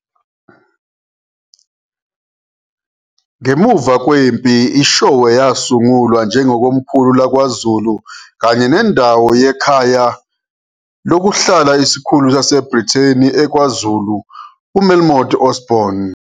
Ngemuva kwempi IShowe yasungulwa njengokomkhulu laKwaZulu kanye nendawo yekhaya lokuhlala isikhulu saseBrithani eKwaZulu, u-Melmoth Osborne.